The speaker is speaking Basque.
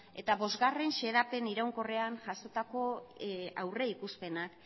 eta bostgarrena xedapen iraunkorrean jasotako aurreikuspenak